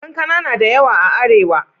Kankana na da yawa a Arewa.